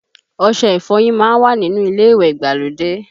Ọṣẹ ìfọyín má ń wà nínú ilé ìwẹ̀ ìgbàlódé